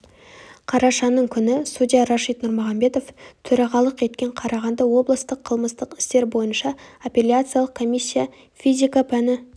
қарашаның күні судья рашид нұрмағамбетов төрағалығық еткен қарағанды облыстық қылмыстық істер бойынша апелляциялық комиссия физика пәні